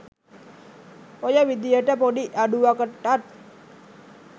ඔය විදියට පොඩි අඩුවකටත්